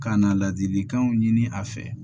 Ka na ladilikanw ɲini a fɛ